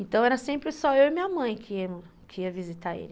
Então era sempre só eu e minha mãe que que ia visitar ele.